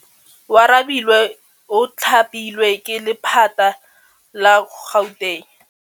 Oarabile o thapilwe ke lephata la Gauteng.